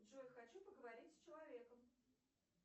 джой хочу поговорить с человеком